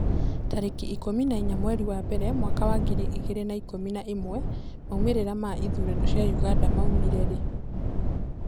Tarĩki ikũmi na inya mweri wa mbere mwaka wa ngiri igĩrĩ na ikũmi na ĩmwe, maumĩrĩra ma ithurano cia Uganda maumire rĩ?